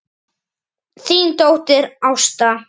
Þín dóttir, Ásta.